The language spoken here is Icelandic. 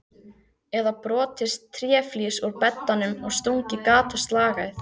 Eða brotið tréflís úr beddanum og stungið gat á slagæð?